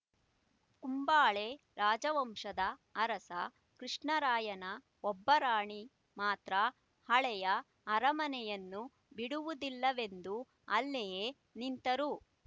ಕುಂಬಳೆ ರಾಜವಂಶದ ಅರಸ ಕೃಷ್ಣರಾಯನ ಒಬ್ಬ ರಾಣಿ ಮಾತ್ರ ಹಳೆಯ ಅರಮನೆಯನ್ನು ಬಿಡುವುದಿಲ್ಲವೆಂದು ಅಲ್ಲಿಯೇ ನಿಂತರು